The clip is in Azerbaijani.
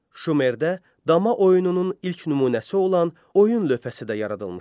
Şumerdə dama oyununun ilk nümunəsi olan oyun lövhəsi də yaradılmışdı.